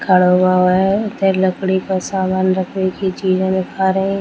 खड़ा हुआ हुआ है उधर लकड़ी का सामान रखने की चीज़े दिखा रही --